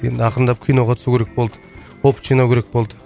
енді ақырындап киноға түсу керек болды опыт жинау керек болды